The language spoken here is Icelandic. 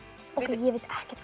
ég veit ekkert